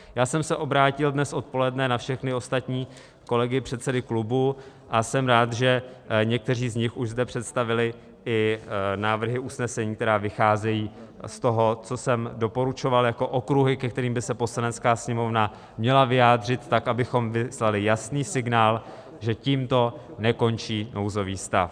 Já jsem se obrátil dnes odpoledne na všechny ostatní kolegy, předsedy klubů, a jsem rád, že někteří z nich už zde představili i návrhy usnesení, které vycházejí z toho, co jsem doporučoval jako okruhy, ke kterým by se Poslanecké sněmovna měla vyjádřit tak, abychom vyslali jasný signál, že tímto nekončí nouzový stav.